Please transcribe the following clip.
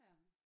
Ja